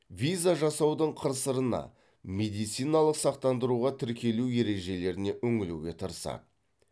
виза жасаудың қыр сырына медициналық сақтандыруға тіркелу ережелеріне үңілуге тырысады